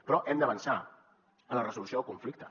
però hem d’avançar en la resolució del conflicte